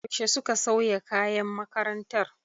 Yaushe suka sauya kayan makarantar?